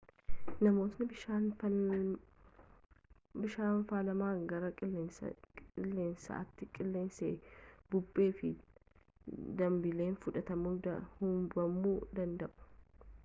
namootni bishaan faalame gara qilleensaatti qilleensa bubbee fi dambaliin fudhatamuun hubamuu danda'u